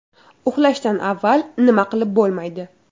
Uxlashdan avval nima qilib bo‘lmaydi?.